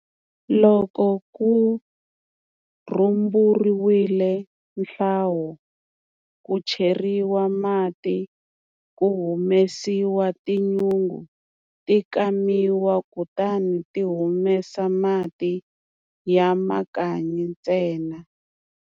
Loko ku rhumburiwile nhlowa ku cheriwa mati, ku humesiwa tinyungu ti kamiwa kutani ti humesa mati ya makanyi ntsena.